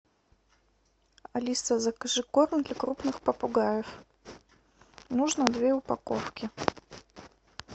алиса закажи корм для крупных попугаев нужно две упаковки